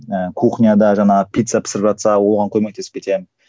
ііі кухняда жаңағы пицца пісіріватса оған көмектесіп кетемін